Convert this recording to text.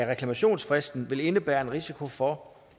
reklamationsfristen vil indebære en risiko for